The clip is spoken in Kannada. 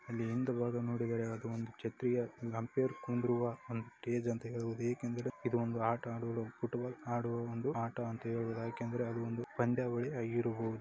ಅಲ್ಲಿ ಹಿಂದ ಭಾಗ ಅದು ಒಂದು ಛತ್ರಿಯ ಇದು ಒಂದು ಆಟ ಆದುವಾ ಫುಟ್ಬಾಲ್ ಆಡುವ ಒಂದು ಆಟ ಅಂತ ಹೇಳ್ಬೋದ ಯಾಕಂದ್ರೆ